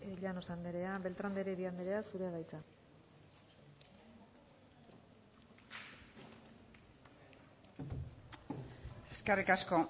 llanos anderea beltrán de heredia anderea zurea da hitza eskerrik asko